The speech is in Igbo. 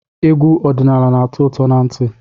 Egwu ọdịnaala na-atọ ụtọ na ntị.